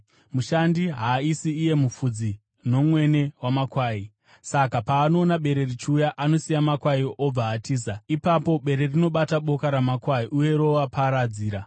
Mushandi haasi iye mufudzi nomwene wamakwai. Saka paanoona bere richiuya, anosiya makwai obva atiza. Ipapo bere rinobata boka ramakwai uye roaparadzira.